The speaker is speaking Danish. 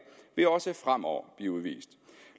vil også fremover blive udvist